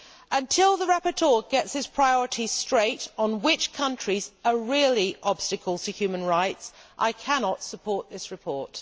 Until the rapporteur gets his priorities straight on which countries are really obstacles to human rights, I cannot support this report.